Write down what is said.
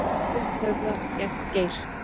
Mál höfðað gegn Geir